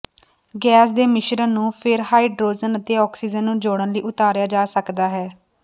gas ਦੇ ਮਿਸ਼ਰਣ ਨੂੰ ਫਿਰ ਹਾਈਡਰੋਜਨ ਅਤੇ ਆਕਸੀਜਨ ਨੂੰ ਜੋੜਨ ਲਈ ਉਤਾਰਿਆ ਜਾ ਸਕਦਾ ਹੈ